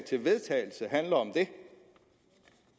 til vedtagelse handler om